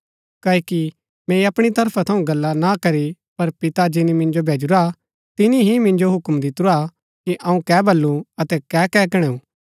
क्ओकि मैंई अपणी तरफा थऊँ गल्ला ना करी पर पिता जिनी मिन्जो भैजूरा तिनी ही मिन्जो हूक्म दितुरा हा कि अऊँ कै बल्लू अतै कै कै कणैऊ